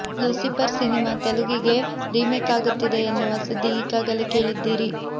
Lucifer cinema ತೆಲುಗಿಗೆ remake ಆಗುತ್ತಿದೆ ಎನ್ನುವ ಸುದ್ದಿ ಈಗಾಗಲೆ ಕೇಳಿದ್ದೀರಿ